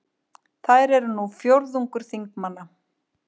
Þær eru nú fjórðungur þingmanna